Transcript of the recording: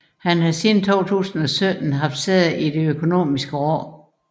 Han har siden 2017 haft sæde i Det Økonomiske Råd